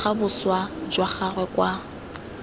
bega boswa jwa gagwe kwa